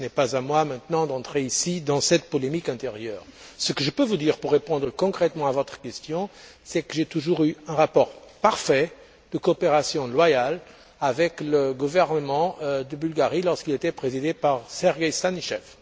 Ce n'est pas à moi d'entrer ici et maintenant dans cette polémique intérieure. Ce que je peux dire pour répondre concrètement à votre question, c'est que j'ai toujours eu un rapport parfait de coopération loyale avec le gouvernement de Bulgarie, lorsqu'il était présidé par Sergueï Stanichev.